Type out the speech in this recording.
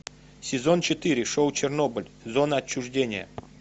сезон четыре шоу чернобыль зона отчуждения